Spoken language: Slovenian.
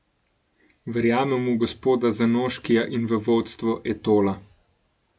Verjamem v gospoda Zanoškija in v vodstvo Etola.